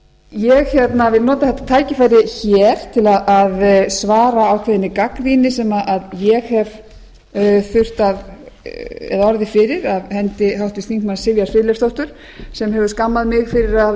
ég vil nota þetta tækifæri hér til að svara ákveðinni gagnrýni sem ég hef orðið fyrir af hendi háttvirts þingmanns sivjar friðleifsdóttur sem hefur skammað mig fyrir að hafa